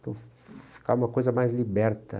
Então, ficar uma coisa mais liberta.